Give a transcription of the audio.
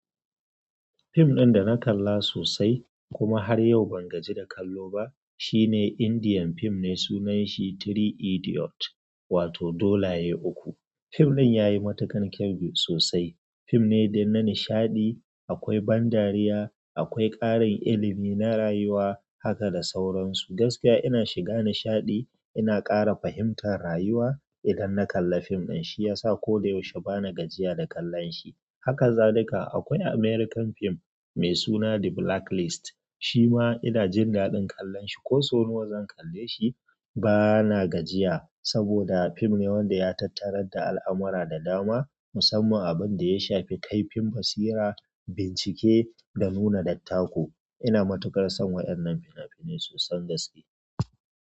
Fim ɗin da na kalla sosai kuma har yau ban gaji da kallo ba shine Indian fim ne, sunanshi three Idiots wato dolaye uku. Fim ɗin ya yi matuƙar kyau sosai. Fim ne dai na nishaɗi, akwai ban dariya, akwai ƙarin ilimi na rayuwa haka da sauransu. Gaskiya ina shiga nishaɗi ina ƙara fahimtar rayuwa idan na kalli fim din shi ya sa ko da yaushe ba na gajiya da kallon shi. Haka zalika akwai American fim mai suna The Blacklist. Shi ma ina jin daɗin kallon shi. Ko sau nawa zan kalle shi ba na gajiya saboda fim ne wanda ya tattarar da al'amura da dama, musamman abin da ya shafi kaifin basira, bincike da nuna dattako. Ina matukar son waƴannan fina-finai so son gaske.